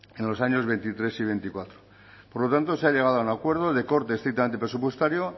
en los años veintitrés y veinticuatro por lo tanto se ha llegado a un acuerdo de corte estrictamente presupuestario